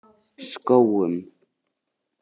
Skógum